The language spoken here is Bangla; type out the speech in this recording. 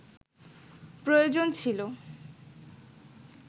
প্রয়োজন ছিল